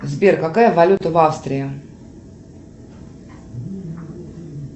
сбер какая валюта в австрии